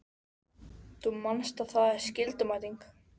Þú manst að það er skyldumæting!